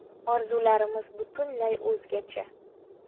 Orzularimiz butunlay o‘zgacha”.